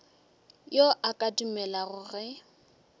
yo a ka dumelago ge